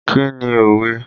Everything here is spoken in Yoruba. Kí ni òwe?